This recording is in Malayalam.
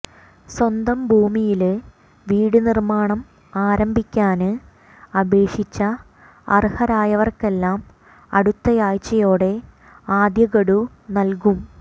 സ്വന്തം ഭൂമിയില് വീട് നിര്മാണം ആരംഭിക്കാന് അപേക്ഷിച്ച അര്ഹരായവര്ക്കെല്ലാം അടുത്തയാഴ്ചയോടെ ആദ്യഗഡു നല്കും